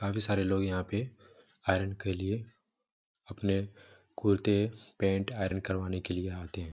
काफी सारे लोग यहाँ पे आयरन के लिए अपने कुर्ते पेंट आयरन करवाने के लिए आते है